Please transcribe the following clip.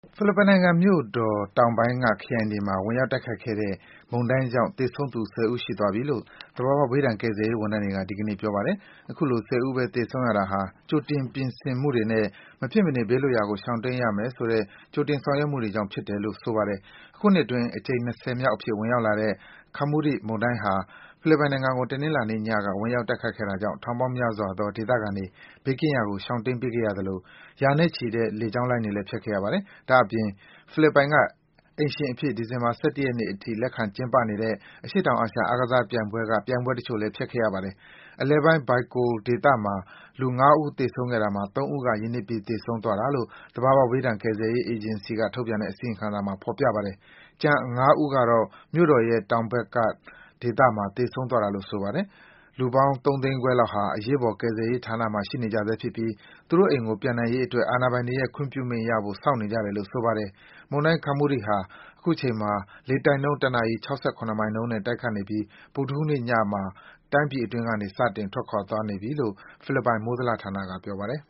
ဖိလစ်ပိုင်နိုင်ငံမြို့တော် တောင်ပိုင်းက ခရိုင်တွေမှာ ဝင်ရောက်တိုက်ခတ်ခဲ့တဲ့ မုန်တိုင်းကြောင့် သေဆုံးသူ ၁၀ ဦး ရှိသွားပြီလို့ သဘာဝဘေးဒဏ် ကယ်ဆယ်ရေး ဝန်ထမ်းတွေက ဒီကနေ့ ပြောပါတယ်။ အခုလို ၁၀ ဦးပဲ သေဆုံးတာဟာ ကြိုတင် ပြင်ဆင်မှုတွေနဲ့ မဖြစ်မနေ ဘေးလွတ်ရာကို ရှောင်တိမ်းရမယ်ဆို ကြိုတင် ဆောင်ရွက်မှုတွေကြောင့်ဖြစ်တယ်လို့ ဆိုပါတယ်။ အခုနှစ်အတွင်း အကြိမ် ၂၀ မြောက်အဖြစ် ဝင်ရောက်လာတဲ့ Kammuri မုန်တိုင်းဟာ ဖိလစ်ပိုင်ကို တနင်္လာနေ့ညက ဝင်ရောက် တိုက်ခတ်လာတာကြောင့် ထောင်ပေါင်းများစွာသော ဒေသခံတွေ ဘေးကင်းရာကို ရှောင်တိမ်းပေးခဲ့ရသလို ရာနဲ့ချီတဲ့ လေကြောင်းလိုင်းတွေလဲ ဖျက်ခဲ့ရပါတယ်။ ဒါ့အပြင် ဖိလစ်ပိုင်က အိမ်ရှင်အဖြစ် ဒီဇင်ဘာ ၁၁ ရက်နေ့အထိ လက်ခံကျင်းပနေတဲ့ အရှေ့တောင်အာရှ အားကစားပြိုင်ပွဲက ပြိုင်ပွဲတချို့လဲ ဖျက်ခဲ့ရပါတယ်။ အလယ်ပိုင်း Bicol ဒေသမှာ လူ ၅ ဦးသေဆုံးခဲ့တာမှာ ၃ ဦးက ရေနစ်ပြီး သေဆုံးသွားတာလို့ သဘာဝဘေးဒဏ် ကယ်ဆယ်ရေး အေဂျင်စီက ထုတ်ပြန်တဲ့ အစီရင်ခံစာမှာ ဖော်ပြထားပါတယ်။ ကျန် ၅ ဦးကတော့ မြို့တော်ရဲ့ တောင်ဘက်က ဒေသအတွင်းမှာ သေဆုံးသွားတာလို့ ဆိုပါတယ်။ လူပေါင်း ၃ သိန်းခွဲလောက်ဟာ အရေးပေါ်ကယ်ဆယ်ရေးဌာနမှာ ရှိနေကြဆဲဖြစ်ပြီး သူတို့အိမ်ကို ပြန်နိုင်ရေးအတွက် အာဏာပိုင်တွေရဲ့ ခွင့်ပြုမိန့်ရဖို့ စောင့်နေကြတယ်လို့ ဆိုပါတယ်။ မုန်တိုင်း Kammuri ဟာ အခုချိန်မှာ လေတိုက်နှုန်း တနာရီ ၆၇ မိုင်နှုန်းနဲ့ တိုက်ခတ်နေပြီး ဗုဒ္ဓဟူးနေ့ညမှာ တိုင်းပြည်အတွင်းကနေ စတင် ထွက်ခွာသွားပြီလို့ ဖိလစ်ပိုင် မိုးဇလဌာနက ပြောပါတယ်